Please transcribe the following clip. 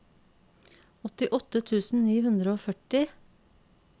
åttiåtte tusen ni hundre og førti